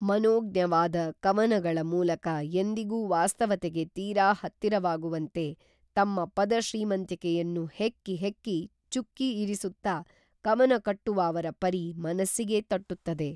ಮನೋಜ್ಞವಾದ ಕವನಗಳ ಮೂಲಕ ಎಂದಿಗೂ ವಾಸ್ತವತೆಗೆ ತೀರಾ ಹತ್ತಿರವಾಗುವಂತೆ ತಮ್ಮ ಪದ ಶ್ರೀಮಂತಿಕೆಯನ್ನು ಹೆಕ್ಕಿ ಹೆಕ್ಕಿ ಚುಕ್ಕಿ ಇರಿಸುತ್ತಾ ಕವನ ಕಟ್ಟುವ ಅವರ ಪರಿ ಮನಸ್ಸಿಗೇ ತಟ್ಟುತ್ತದೆ